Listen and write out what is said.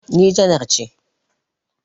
Ni janar ce